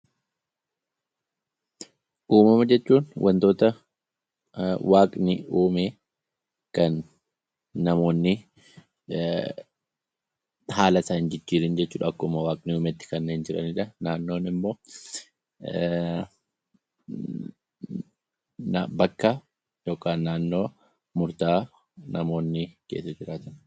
Uumama jechuun wantoota waaqni uume kan namoonni haala isaa hin jijjiirin jechuu dha. Akkuma waaqni uumetti kanneen jiranii dha. Naannoon immoo bakka yookaan naannoo murtaa'aa namoonni keessa jiraatan.